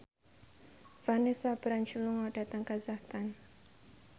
Vanessa Branch lunga dhateng kazakhstan